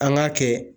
An k'a kɛ